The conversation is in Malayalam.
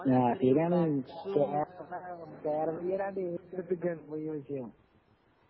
ആ ശെരിയാണ് കേരളീയര് അങ്ങട് ഏറ്റെടുത്തിരിക്കാണു മുഴുവനയ്ക്കും